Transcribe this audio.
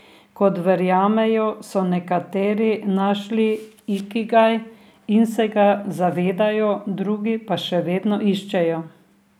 Kot verjamejo, so nekateri našli ikigaj in se ga zavedajo, drugi ga še vedno iščejo.